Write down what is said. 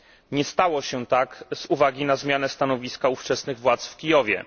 Nie stało się tak z uwagi na zmianę stanowiska ówczesnych władz w Kijowie.